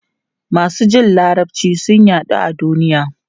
Masu jin Larabci sun yaɗu a duniya.